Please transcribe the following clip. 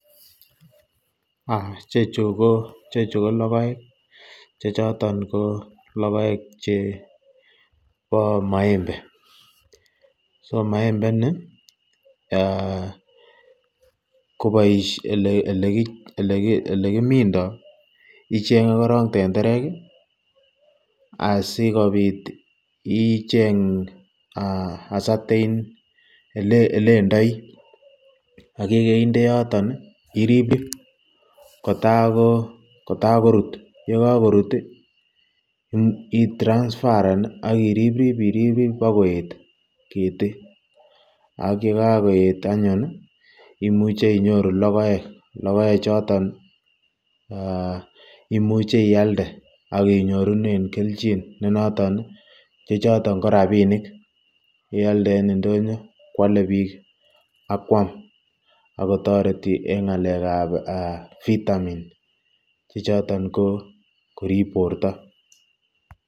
Ichechu ko lokoek chechoton ko lokoek chebo maembe, so maembe nii ko elekimindo icenge korong tenderek asikobit icheng a certain elendoi ak yekeinde yoton irib kotakokorut, yekokorut itransfaren ak irib irib bokoet ketii ak yekokoet anyun imuche inyoru lokoek, lokoechoton imuche ialde ak inyorunen kelchin nenoton chechoton ko rabinik, ialde en ndonyo kwole biik akwam ak kotoreti en ng'alekab vitamin chechoton ko korib borto.